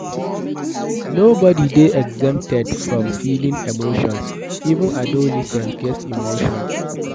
No body dey exempted from feeling emotions, even adolescent get emotion